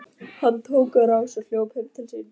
Hann tók á rás og hljóp heim til sín.